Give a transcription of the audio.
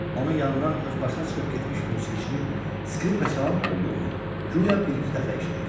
Onun yanından özbaşına çıxıb getmiş musiqiçinin skripka çalan olduğunu guya birinci dəfə eşidir.